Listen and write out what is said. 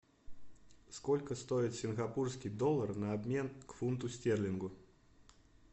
сколько стоит сингапурский доллар на обмен к фунту стерлингу